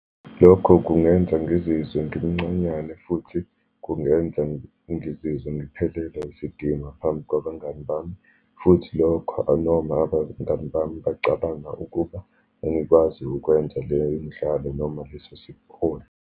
Lokho kungenza ngizizwe ngimncanyane, futhi kungenza ngizizwe ngiphelelwe isidima phambi kwabangani bami, futhi lokho anoma abangani bami bacabanga ukuba angikwazi ukwenza leyo midlalo, noma leso .